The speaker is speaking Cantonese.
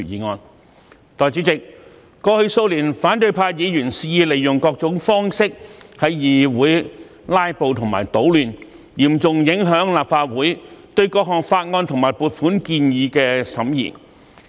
代理主席，過去數年，反對派議員肆意利用各種方式在議會"拉布"和搗亂，嚴重影響立法會對各項法案和撥款建議的審議。